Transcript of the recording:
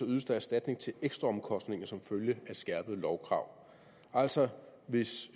ydes erstatning til ekstraomkostninger som følge af skærpede lovkrav altså hvis